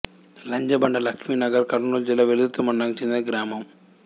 లంజబండ లక్ష్మీ నగర్ కర్నూలు జిల్లా వెల్దుర్తి మండలానికి చెందిన గ్రామం